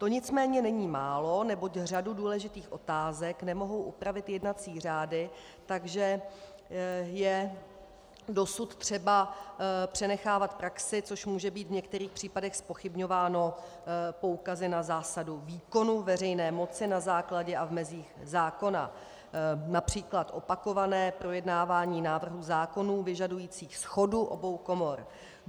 To nicméně není málo, neboť řadu důležitých otázek nemohou upravit jednací řády, takže je dosud třeba přenechávat praxi, což může být v některých případech zpochybňováno poukazy na zásadu výkonu veřejné moci na základě a v mezích zákona, například opakované projednávání návrhů zákonů vyžadujících shodu obou komor.